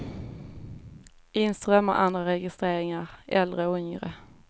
In strömmar andra registreringar, äldre och yngre.